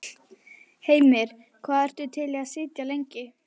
Heimir: Hvað ertu til í að sitja lengi?